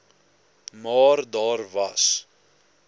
maar daar was